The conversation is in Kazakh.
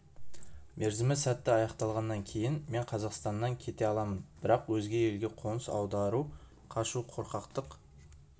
мерзімі сәтті аяқталғаннан кейін мен қазақстаннан кете аламын бірақ өзге елге қоныс аудару қашу қорқақтық